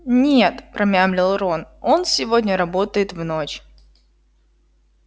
нет промямлил рон он сегодня работает в ночь